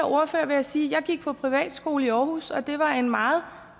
ordfører vil jeg sige at jeg gik på privatskole i aarhus det var en meget